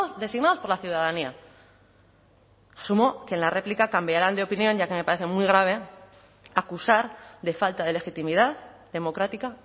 designados por la ciudadanía asumo que en la réplica cambiarán de opinión ya que me parece muy grave acusar de falta de legitimidad democrática